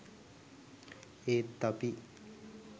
ඒත් අපි